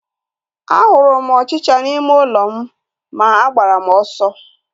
A hụrụ m ọchịchịa n'ime ụlọ m ma agbara m ọsọ